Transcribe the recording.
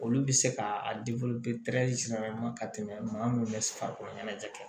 Olu bɛ se ka a ka tɛmɛ maa munnu bɛ farikolo ɲɛnajɛ